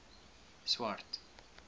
swart